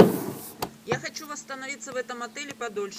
я хочу восстановиться в этом отеле подольше